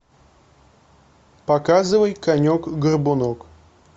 показывай конек горбунок